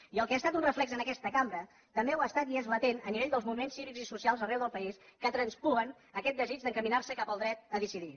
i el que ha estat un reflex en aquest cambra també ho ha estat i és latent a nivell dels moviments cívics i socials arreu del país que traspuen aquest desig d’encaminar se cap al dret a decidir